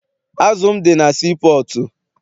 Azụ m dị na sii pọọtụ.